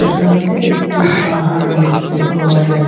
এখানে একটি পাহাড় দেখতে পাওয়া যাচ্ছে।